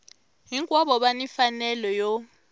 hinkwavo va ni mfanelo yo